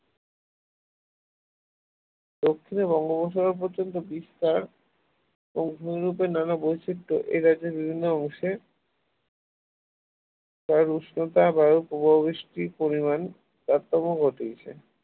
দক্ষিনে বঙ্গোপসাগর পর্যন্ত বিস্তার ও নানা বৈচিত্র এই রাজ্যের বিভিন্ন অংশে প্রায় উষ্ণতা বায়ুর প্রভাব বৃষ্টির পরিমাণ তারতম্য ঘটিয়েছে